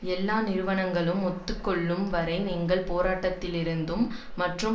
எல்லா நிறுவனங்களும் ஒத்து கொள்ளும் வரை எங்களின் போராட்டத்திலிருந்தும் மற்றும்